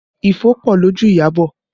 Ifo pọ lójú Iyabọ̀